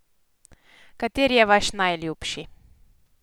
Kateri je vaš najljubši?